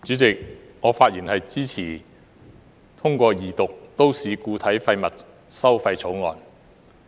主席，我發言支持通過二讀《2018年廢物處置條例草案》。